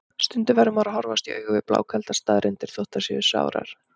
Stundum verður maður að horfast í augu við blákaldar staðreyndir, þótt þær séu sárar.